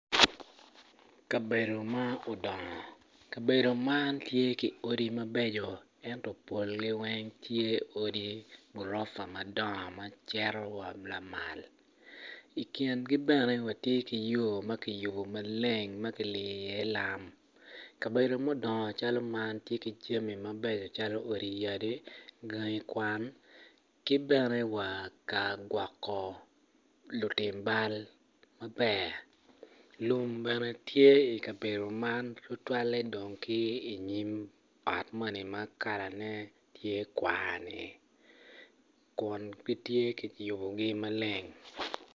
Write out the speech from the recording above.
Kabedo ma odongo kabedo man tye ki odi mabeco ento polgi weng tye odi gurofa madongo ma cito wa lamal i kingi bene watye ki yo ma kiyubo maleng ma kiliyo iye lam kabedo ma odongo calo man tye ki jami mabeco calo odi yadi, gangi kwan ki bene wa ka gwoko lutim bal maber lum bene tye i kabedo man tutwalle dong ki inyim ot moni ma kalane tye kwar-ni kun gitye kiyubogi maleng.